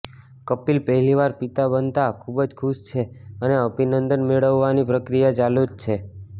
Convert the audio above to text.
કપિલ પહેલીવાર પિતા બનતા ખૂબ જ ખુશ છે અને અભિનંદન મેળવવાની પ્રક્રિયા ચાલુ જ છે